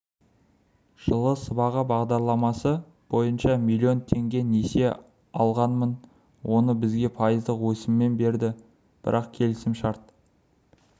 жылы сыбаға бағдарламасы бойынша миллион теңге несие алғанмын оны бізге пайыздық өсіммен берді бірақ келісім шарт